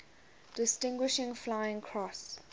distinguished flying cross